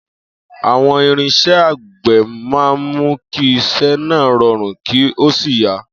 Àwo̩n irins̩é̩ àgbè̩ máa ń mú kí is̩é̩ náà ro̩rùn kí ó sì yá